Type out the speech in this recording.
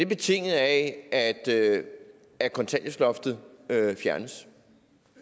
betinget af at at kontanthjælpsloftet fjernes